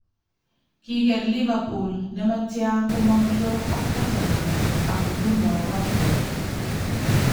Kiger Liverpool nematia komong' draw ak Tottenham ak nguno Watford .